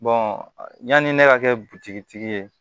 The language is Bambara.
yanni ne ka kɛ butigi tigi ye